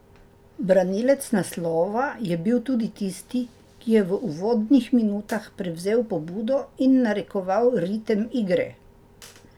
Branilec naslova je bil tudi tisti, ki je v uvodnih minutah prevzel pobudo in narekoval ritem igre.